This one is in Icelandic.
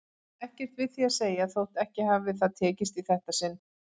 Ekkert við því að segja þótt ekki hafi það tekist í þetta sinn.